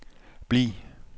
bliv